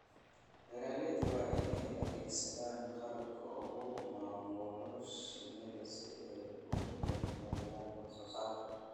Beeralayda waa in ay adeegsadaan qalabka lagu maamulo shinnida si ay u horumariyaan wax soo saarka.